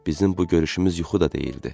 Bizim bu görüşümüz yuxu da deyildi.